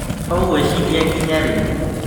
Ũgwĩciria nginya rĩ